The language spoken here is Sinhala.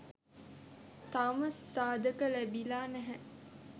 තවම සාධක ලැබිලා නැහැ